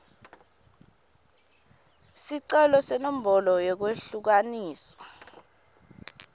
sicelo senombolo yekwehlukaniswa